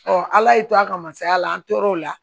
ala y'i to a ka masaya la an tor'o la